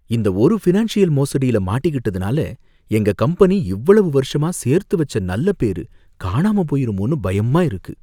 இந்த ஒரு ஃபினான்ஷியல் மோசடியில மாட்டிக்கிட்டதுனால எங்க கம்பெனி இவ்வளவு வருஷமா சேர்த்து வச்ச நல்ல பேரு காணாம போயிருமோன்னு பயமா இருக்கு.